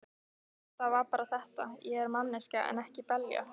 Það var bara þetta: Ég er manneskja en ekki belja.